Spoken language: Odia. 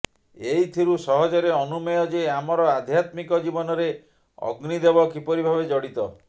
ଏଇଥିରୁ ସହଜରେ ଅନୁମେୟ ଯେ ଆମର ଆଧ୍ୟାତ୍ମିକ ଜୀବନରେ ଅଗ୍ନିଦେବ କିପରି ଭାବେ ଜଡ଼ିତ